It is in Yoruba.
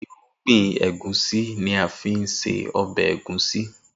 Irúgbìn Ẹ̀gúsí ni a fi ń se ọbẹ̀ ẹ̀gúnsí